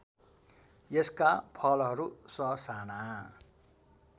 यसका फलहरू ससाना